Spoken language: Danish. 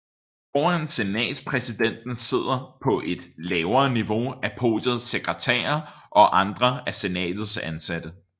Foran senatspræsidenten sidder på et lavere niveau af podiet sekretærer og andre af senatets ansatte